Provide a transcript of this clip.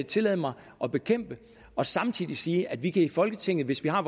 tillade mig at bekæmpe og samtidig sige at vi kan i folketinget hvis vi har